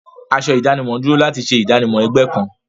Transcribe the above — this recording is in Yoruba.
Aṣọ ìdánimọ̀ dúró láti ṣe ìdánimọ̀ ẹgbẹ́ kan.